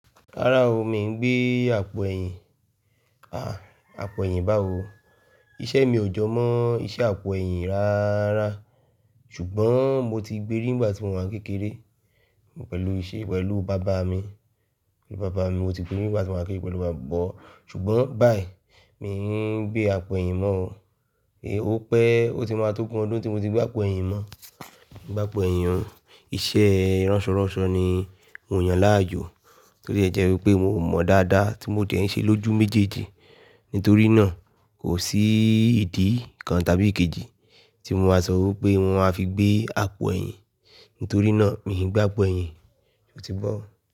Rárá o, mi ò gbé àpò ẹ̀yìn. À, àpò ẹ̀yìn bá o. Iṣẹ́ mi ò jọ mọ́ iṣẹ́ àpò ẹ̀yìn rárá. Ṣùgbọ́n mo ti gbérí nígbà tí mo wà kékeré. Pẹ̀lú iṣẹ́ pẹ̀lú bàbá mi. Bàbá mi, mo ti gbérí nígbà tí mo wà kékeré pẹ̀lú bàbá mi. Ṣùgbọ́n báyìí, mi ò gbé àpò ẹ̀yìn mọ́ o. Ò pé ó ti máa tó gun ọdún tí mo ti gbé àpò ẹ̀yìn mọ́. Gbé àpò ẹ̀yìn, iṣẹ́ ránsọ̀rọ̀sọ ni mò yan láàyò. Torí ẹ jẹ́ wípé mi ò mọ̀ dáadáa tí mo ti ẹ̀ ń ṣe lójú méjèèjì. Nítorí náà kò sí ìdí kan tàbí kejì tí mo máa sọ wípé mo máa fi gbé àpò ẹ̀yìn. Nítorí náà mi ò gbé àpò ẹ̀yìn. Ó ti bọ̀